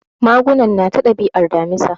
Magunan nata dabi'ar Damisa.